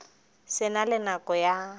se na le nako ya